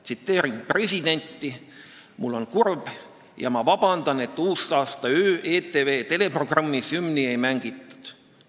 Tsiteerin presidenti: "Mul on kurb ja ma vabandan, et uusaastaöö ETV teleprogrammis hümni ei mängitud.